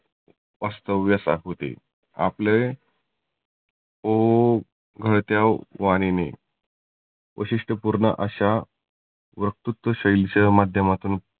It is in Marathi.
वास्तव्यास होते. आपले ओघळत्या वाणिने वैशिष्ठपुर्ण अशा वकृत्व शैलीच्या माध्यमातुन